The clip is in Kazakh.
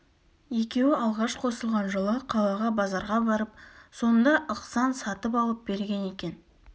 екеуі алғаш қосылған жылы қалаға базарға барып сонда ықсан сатып алып берген екен